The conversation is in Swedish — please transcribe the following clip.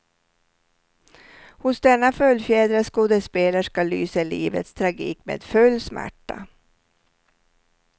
Hos denna fullfjädrade skådespelerska lyser livets tragik med full smärta.